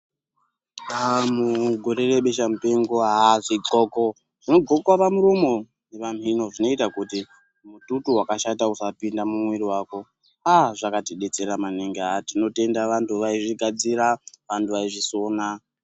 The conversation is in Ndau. Mugore rebesha mupengo zvidxoko zvinodxoka pamuromo nepamino zvinoita mututu wakashata usapinde mumuviri mako zvakatidetsera maningi tinotenda vantu vaizvigadzira. Vantu vaizvisona.